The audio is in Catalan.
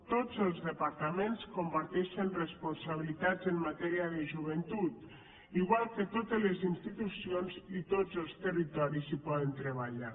tots els departaments comparteixen responsabilitats en matèria de joventut igual que totes les institucions i tots els territoris hi poden treballar